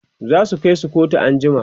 zasu Kai su kotu an jima